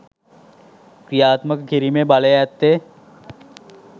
ක්‍රියාත්මක කිරීමේ බලය ඇත්තේ